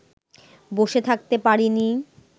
বসে থাকতে পারিনি